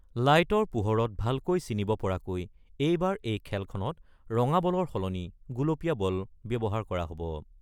লাইটৰ পোহৰত ভালকৈ চিনিব পৰাকৈ এইবাৰ এই খেলখনত ৰঙা বলৰ সলনি গুলপীয়া বল ব্যৱহাৰ কৰা হ'ব।